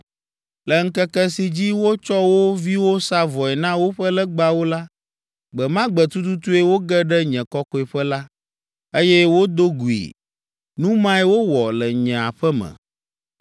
Le ŋkeke si dzi wotsɔ wo viwo sa vɔe na woƒe legbawo la, gbe ma gbe tututue woge ɖe nye kɔkɔeƒe la, eye wodo gui. Nu mae wowɔ le nye aƒe me.